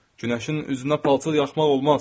Günəşin üzünə palçıl yaxmaq olmaz.